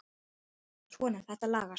Svona, þetta lagast